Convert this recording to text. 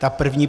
Ta první.